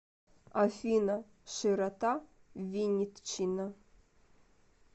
афина широта виннитчина